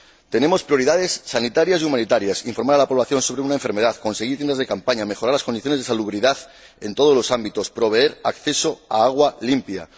Tenemos prioridades sanitarias y humanitarias informar a la población sobre una enfermedad, conseguir tiendas de campaña, mejorar las condiciones de salubridad en todos los ámbitos, proveer de acceso al agua limpia.